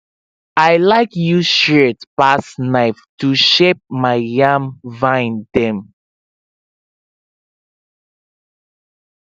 i like use shears pass knife to shape my yam vine dem